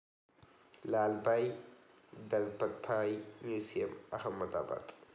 Lalbhai Dalpatbhai museum, Ahmedabad